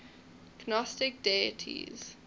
gnostic deities